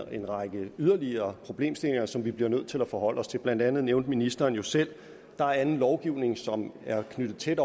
en række yderligere problemstillinger som vi bliver nødt til at forholde os til blandt andet nævnte ministeren jo selv at der er anden lovgivning som er knyttet tæt